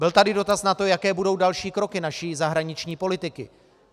Byl tady dotaz na to, jaké budou další kroky naší zahraniční politiky.